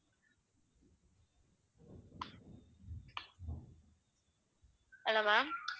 hello ma'am